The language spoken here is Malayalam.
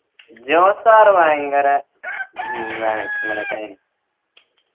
ജോസ് sir ഭയങ്കര